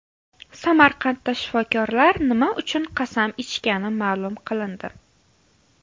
Samarqandda shifokorlar nima uchun qasam ichgani ma’lum qilindi.